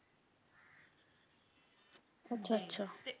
ਅੱਛਾ - ਅੱਛਾ